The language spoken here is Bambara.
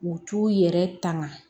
U t'u yɛrɛ tanga